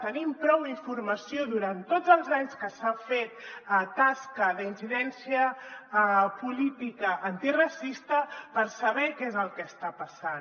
tenim prou informació durant tots els anys que s’ha fet tasca d’incidència política antiracista per saber què és el que està passant